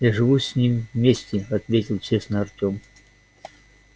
я живу с ним вместе ответил честно артём